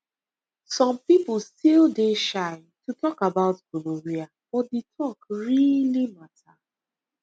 some people still dey shy to talk about gonorrhea but the talk really matter